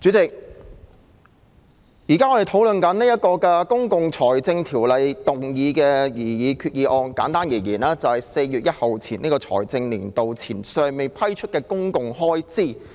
主席，現在我們討論這項根據《公共財政條例》動議的擬議決議案，簡單而言，就是為了處理在4月1日新財政年度開始後尚未批出的公共開支。